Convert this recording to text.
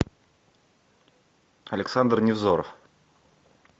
александр невзоров